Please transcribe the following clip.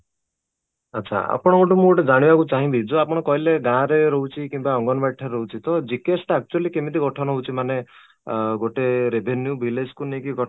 ଆଚ୍ଛା ଆପଣଙ୍କ ଠୁ ମୁଁ ଜାଣିବାକୁ ଚାହୁଁଛି ଯୋଉ ଆପଣ କହିଲେ ଗାଁ ରେ ରହୁଛି କିମ୍ବା ଅଙ୍ଗନବାଡି ଠାରେ ରହୁଛି GKS actually କେମିତି ଗଠନ ହଉଛି ମାନେ ଅଂ ଗୋଟେ revenue village କୁ ନେଇକି